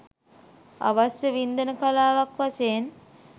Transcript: අවශ්‍ය වින්දන කලාවක් වශයෙන්